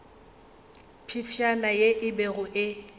phefšana ye e bego e